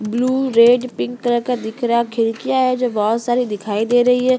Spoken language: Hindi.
ब्लू रेड पिंक कलर का दिख रहा है खिड़कियां है जो बहुत सारी दिखाई दे रही है।